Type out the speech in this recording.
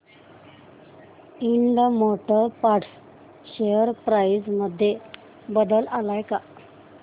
Ind motor parts share price मध्ये बदल आलाय का